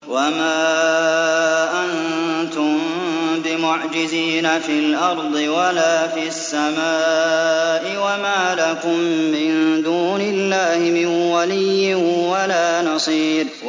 وَمَا أَنتُم بِمُعْجِزِينَ فِي الْأَرْضِ وَلَا فِي السَّمَاءِ ۖ وَمَا لَكُم مِّن دُونِ اللَّهِ مِن وَلِيٍّ وَلَا نَصِيرٍ